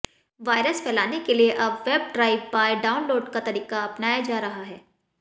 virus फैलाने के लिए अब वेब ड्राइव बाय डाउनलोड का तरीका अपनाया जा रहा है